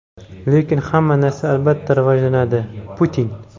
lekin hamma narsa albatta rivojlanadi – Putin.